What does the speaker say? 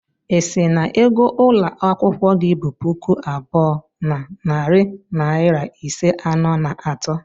Ị sị na ego ụlọ akwụkwọ gị bu puku abụọ na narị naịra iri anọ na atọ?